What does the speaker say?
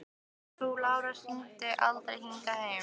Frú Lára hringdi aldrei hingað heim.